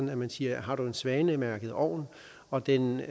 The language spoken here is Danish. dermed sige har du en svanemærket ovn og den